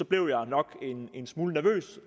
blev jeg nok en smule nervøs